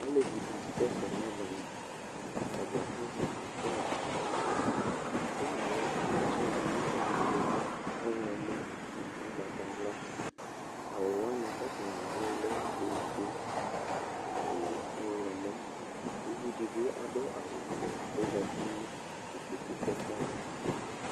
Aleviɖini asɛsɛ n'ɔdzaniAtadza azɛ aflaga n'aɣlaAflagaɛ atsiɖʋ nʋ ɔvɛ, ɔɣlɔmɔ, nʋ ugbatawlaAwuwani atani aɖʋɛa lɛ ofue, nʋ ɔɣlɔmɔƲviɖibi aɖʋ awu vɛ k'ozati nʋ ikpoku kɛkɛava